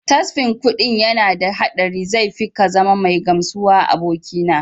Tasfin kuɗin yana da haɗari zai fi kazama mai gamsuwa abokina.